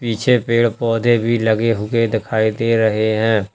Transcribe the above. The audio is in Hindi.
पीछे पेड़ पौधे भी लगे हुए दिखाई दे रहे हैं।